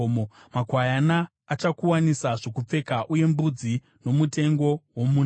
makwayana achakuwanisa zvokupfeka, uye mbudzi nomutengo womunda.